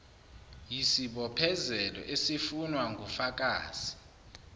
yisibophezelo esifunwa ngufakazi